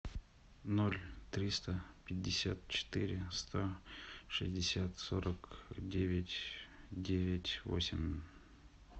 ноль триста пятьдесят четыре сто шестьдесят сорок девять девять восемь